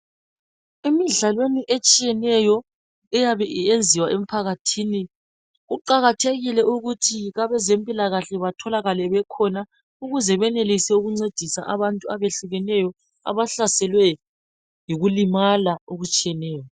Emidlalweni etshiyeneyo eyabe iyenziwa emphakathini kuqakathekile ukuthi abezempila kahle batholakale bekhona ukuze benelise ukuncedisa abantu abehlukeneyo abahlaselwe yikulimala okutshiyeneyo